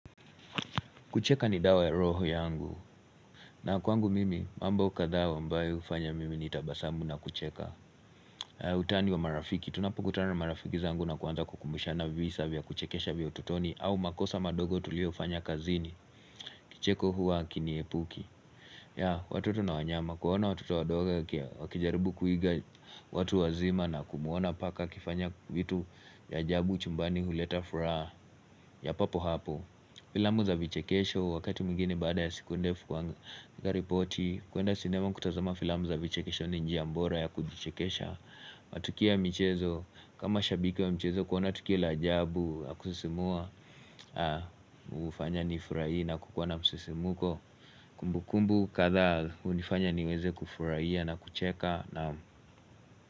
Kucheka ni dawa ya roho yangu na kwangu mimi mambo kadhaa ambayo hufanya mimi nitabasamu na kucheka Utani wa marafiki tunapokutana na marafiki zangu na kuanza kukumbushana visa vya kuchekesha vya ututoni au makosa madogo tuliofanya kazini Kicheko huwa kini epuki watoto na wanyama kuona watoto wadogo wakijaribu kuiga watu wazima na kumwona paka akifanya vitu vya ajabu chumbani huleta furaha ya papo hapo Filamu za vichekesho wakati mwingine baada ya siku ndefu kuandaa ripoti kuenda sinema kutazama filamu za vichekesho ni njia mbora ya kujichekesha matukio ya michezo kama shabiki wa mchezo kuona tukio la ajabu ya kususimua hufanya nifuraie na kukuwa na msusimuko Kumbu kumbu kadhaa hunifanya niweze kufuraia na kucheka.